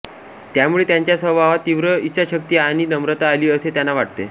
त्यामुळे त्यांच्या स्वभावात तीव्र इच्छाशक्ती आणि नम्रता आली असे त्यांना वाटते